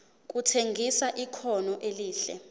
kutshengisa ikhono elihle